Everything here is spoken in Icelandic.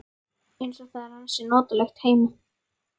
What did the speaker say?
Eins og það er ansi notalegt heima.